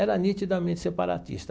Era nitidamente separatista.